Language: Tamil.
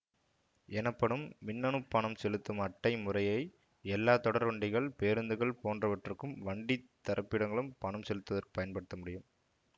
எனப்படும் மின்னணுப் பணம் செலுத்தும் அட்டை முறையை எல்லா தொடர்வண்டிகள் பேருந்துகள் போன்றவற்றுக்கும் வண்டித் தரப்பிடங்களும் பணம் செலுத்துவதற்ப் பயன்படுத்தமுடியும்